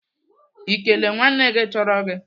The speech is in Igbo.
Ị kelele nwanne gị tọrọ gị?